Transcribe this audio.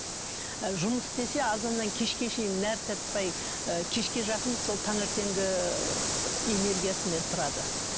ы жұмыс істесе азаннан кешке шейін нәр таппай ы кешке жақын сол таңертеңгі энергиясымен тұрады